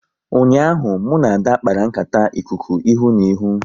Ụnyaahụ, mụ na Ada kpara nkata ikuku ihu na ihu